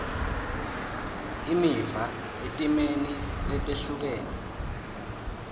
imiva etimeni letehlukene